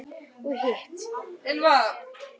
Og hitt?